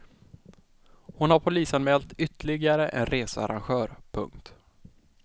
Hon har polisanmält ytterligare en researrangör. punkt